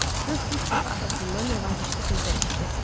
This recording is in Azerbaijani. Qız ilk dəfə atasından nəvazişli sözlər eşidirdi.